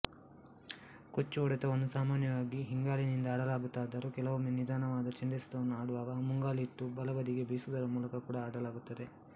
ಕೊಚ್ಚು ಹೊಡೆತವನ್ನು ಸಾಮಾನ್ಯವಾಗಿ ಹಿಂಗಾಲಿನಿಂದ ಆಡಲಾಗುತ್ತದಾದರೂ ಕೆಲವೊಮ್ಮೆ ನಿಧಾನವಾದ ಚೆಂಡೆಸೆತವನ್ನು ಆಡುವಾಗ ಮುಂಗಾಲಿಟ್ಟು ಬಲಬದಿಗೆ ಬೀಸುವುದರ ಮೂಲಕ ಕೂಡಾ ಆಡಲಾಗುತ್ತದೆ